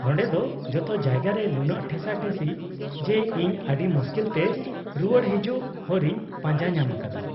-ᱱᱚᱸᱰᱮ ᱫᱚ ᱡᱚᱛᱚ ᱡᱟᱭᱜᱟ ᱨᱮ ᱱᱩᱱᱟᱹᱜ ᱴᱷᱮᱥᱟᱴᱷᱤᱥᱤ ᱡᱮ ᱤᱧ ᱟᱹᱰᱤ ᱢᱩᱥᱠᱤᱞᱛᱮ ᱨᱩᱣᱟᱹᱲ ᱦᱤᱡᱩᱜ ᱦᱚᱨᱤᱧ ᱯᱟᱸᱡᱟ ᱧᱟᱢ ᱟᱠᱟᱫᱟ ᱾